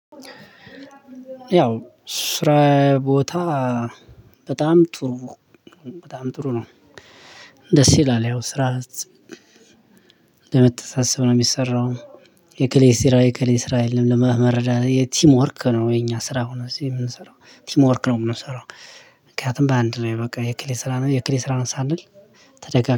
ያው ስራ ቦታ በጣም ጥሩ በጣም ጥሩ ነው። ደስ ይላል ያው ስራ በመተሳሰብ ነው የሚሰራው። እከሌ ስራ የእከሌ ስራ የለም ለማ መረዳት የቲም ወርክ ነው የኛ ስራ እዚህ የምንሰራው ቲም ወርክ ነው የምንሰራው። ምክንያቱም በአንድ ነው በቃ የእከሌ ስራ ነው የእከሌ ስራ ነው ሳንል ተደጋ